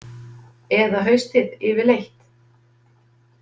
Eða haustið yfirleitt.